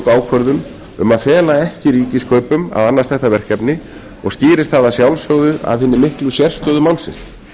ákvörðun um að fela ekki ríkiskaupum að annast þetta verkefni og skýrist það að sjálfsögðu af hinni miklu sérstöðu málsins